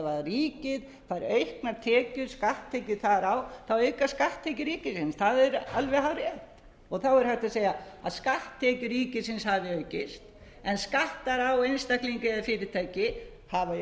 ríkið fær auknar tekjur skatttekjur þar á aukast skatttekjur ríkisins það er alveg hárrétt og þá er hægt að segja að skatttekjur ríkisins hafi aukist en skattar á einstaklinga eða fyrirtæki hafi